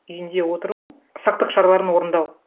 үйінде отыру сақтық шараларын орындау